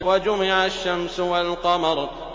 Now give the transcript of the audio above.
وَجُمِعَ الشَّمْسُ وَالْقَمَرُ